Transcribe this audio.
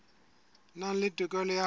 nang le tokelo ya ho